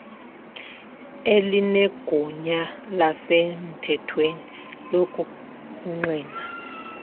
elinegunya lasemthethweni lokungqina